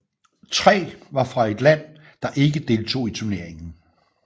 Tre var fra et land der ikke deltog i turneringen